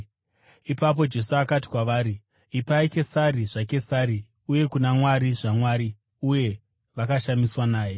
Ipapo Jesu akati kwavari, “Ipai Kesari zvaKesari uye kuna Mwari zvaMwari.” Uye vakashamiswa naye.